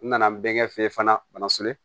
N nana n bɛ fɛ fana bana